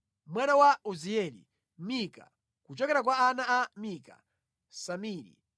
Mwana wa Uzieli: Mika; kuchokera kwa ana a Mika: Samiri.